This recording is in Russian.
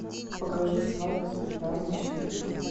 покажи свадьба с приданым четыре кей